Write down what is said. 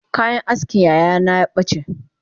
Kayan askin yayana yabace